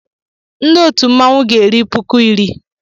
Ndị otu mmanwụ m ga-eri m puku iri.